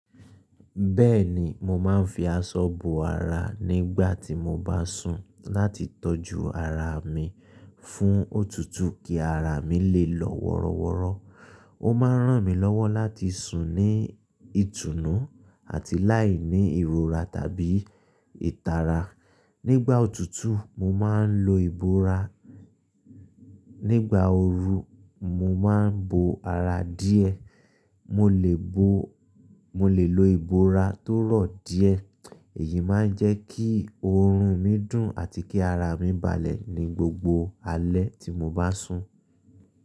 Bẹ́ẹ̀ni, mo máa ń fi aṣọ bo ara nígbà tí mo bá sùn láti tọ́jú ara mi fún òtútù kí ara mi lè lọ wọ́rọ́wọ́rọ́. Ó máa ń ràn mí lọ́wọ́ láti sùn ní ìtùnú àti láìní ìrora tàbí ìtara. Nígbà òtútù, mo máa ń lo ìbora, nígbà ooru, mo máa ń bo ara díẹ̀. Mo lè bo, mo lè lo ìbora tó rọ̀ díẹ̀. Èyí máa ń jẹ́ kí oorun mi dùn àti kí ara mi balẹ̀ ní gbogbo alẹ́ tí mo bá sùn.